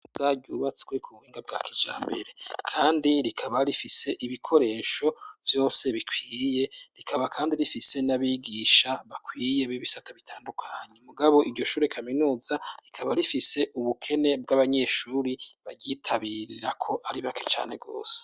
Zaryubatswe ku buhinga bwa kija mbere, kandi rikaba rifise ibikoresho vyose bikwiye rikaba, kandi rifise n'abigisha bakwiye b'ibisata bitandukanyi umugabo iryoshure kaminuza rikaba rifise ubukene bw'abanyeshuri baryitabirirako ari bake cane gose.